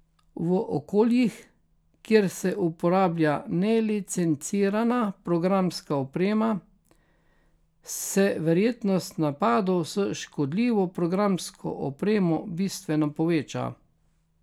V okoljih, kjer se uporablja nelicencirana programska oprema, se verjetnost napadov s škodljivo programsko opremo bistveno poveča.